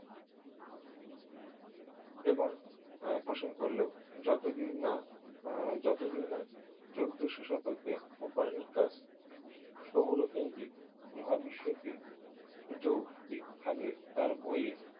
এবং প্রশ্ন করলেও যতদিন না যতদিন না চোদ্দোশো শতকে কোপার্নিকাস সৌরকেন্দ্রিক মহাবিশ্ব কে যৌক্তিকভাবে তার বইয়ে